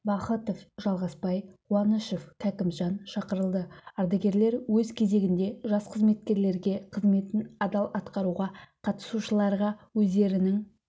бахытов жалғасбай қуанышев кәкімжан шақырылды ардагерлер өз кезегінде жас қызметкерлерге қызметін адал атқаруға қатысушыларға өздерінің